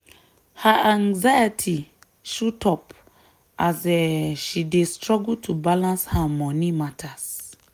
her anxiety shoot up as um she dey struggle to balance her money matters.